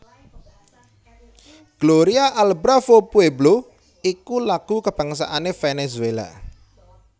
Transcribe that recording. Gloria al bravo pueblo iku lagu kabangsané Venezuela